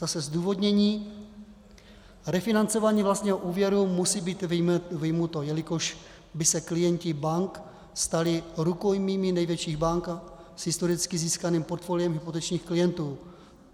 Zase zdůvodnění: Refinancování vlastního úvěru musí být vyjmuto, jelikož by se klienti bank stali rukojmími největších bank s historicky získaným portfoliem hypotečních klientů.